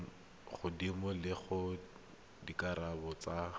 godimo le gore dikarabo tsa